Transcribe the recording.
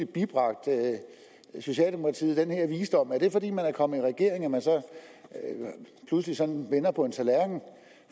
bibragt socialdemokratiet den her visdom er det fordi man er kommet i regering at man så pludselig sådan vender på en tallerken